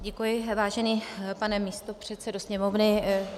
Děkuji, vážený pane místopředsedo Sněmovny.